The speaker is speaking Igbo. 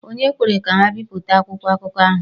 Ònye kwere ka ha bipụta akwụkwọ akụkọ ahụ?